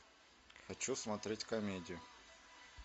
хочу смотреть комедию